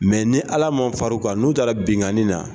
Mɛ ni ala ma far'u kan n'u taara binkani na